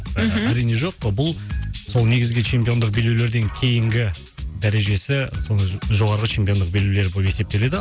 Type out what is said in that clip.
мхм әрине жоқ бұл сол негізгі чемпиондық белбеулерден кейінгі дәрежесі сондай жоғарғы чемпиондық белбеулер болып есептеледі